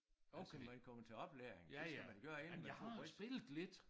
Altså man kommer til oplæring det skal man gøre inden man får bridge